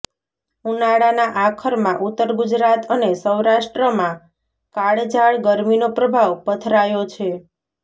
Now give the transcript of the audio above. ઉનાળાના આખરમાં ઉત્તર ગુજરાત અને સૌરાષ્ટ્રમાં કાળઝાળ ગરમીનો પ્રભાવ પથરાયો છે